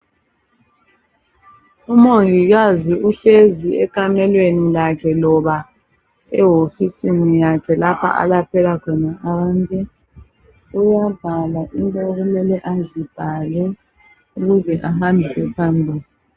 umongikazi uhlezi ekamelweni lakhe loba ewofisini yakhe alaphela khona abantu uyabhala into okumele azibhale ukuze ahambise phambili